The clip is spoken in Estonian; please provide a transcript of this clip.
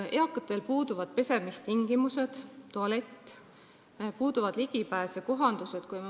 Eakatel puuduvad pesemistingimused, tualett, ligipääsud ja kohandused.